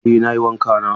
Eh nayi wanka na.